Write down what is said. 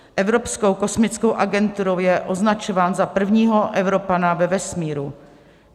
Evropskou kosmickou agenturou je označován za prvního Evropana ve vesmíru.